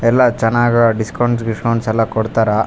ಎಲ್ಲ ಚನ್ನಾಗ್ ಡಿಸ್ಕೌಂಟ್ ಗಿಸ್ಕೊಂಟ್ಸ್ ಎಲ್ಲ ಕೊಡತ್ತಾರ.